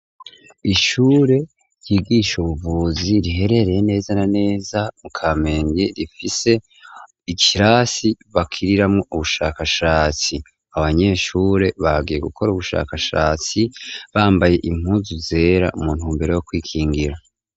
Ishure ryigisha ubuvuzi riherereye neza na neza mu kamenge rifise ikirasi bakiriramwo ubushakashatsi. Abanyeshure bagiye gukora ubushakashatsi bambaye impuzu zera mu ntumbero yo kwikingira.